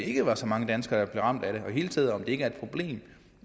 ikke er så mange danskere der bliver ramt af det og hele taget om det ikke er et problem